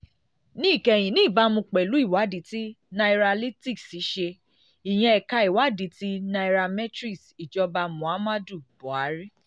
níkẹyìn: ní ìbámu pẹ̀lú ìwádìí tí nairalytics ṣe ìyẹn ẹ̀ka ìwádìí ti nairametrics ìjọba muhammadu buhari